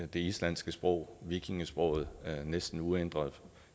det islandske sprog vikingesproget næsten uændret